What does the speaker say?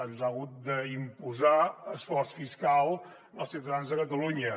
ens ha hagut d’imposar esforç fiscal als ciutadans de catalunya